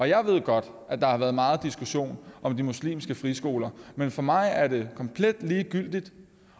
jeg ved godt at der har været meget diskussion om de muslimske friskoler men for mig er det komplet ligegyldigt